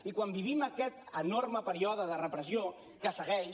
i quan vivim aquest enorme període de repressió que segueix